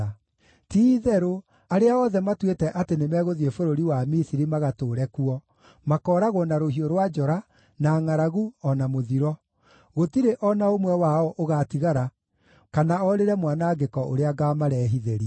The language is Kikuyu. Ti-itherũ, arĩa othe matuĩte atĩ nĩmegũthiĩ bũrũri wa Misiri magatũũre kuo, makooragwo na rũhiũ rwa njora, na ngʼaragu, o na mũthiro; gũtirĩ o na ũmwe wao ũgaatigara kana orĩre mwanangĩko ũrĩa ngaamarehithĩria.’